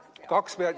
Jah kaks pead.